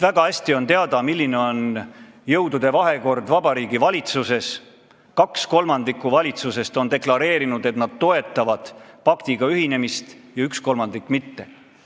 Väga hästi on ju teada, milline on jõudude vahekord Vabariigi Valitsuses: 2/3 valitsusest on deklareerinud, et nad toetavad paktiga ühinemist, ja 1/3 ei toeta.